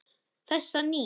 Þessa nýju.